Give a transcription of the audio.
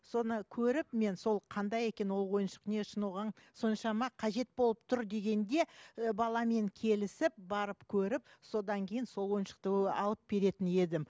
соны көріп мен сол қандай екен ол ойыншық не үшін оған соншама қажет болып тұр дегенде і баламен келісіп барып көріп содан кейін сол і ойыншықты алып беретін едім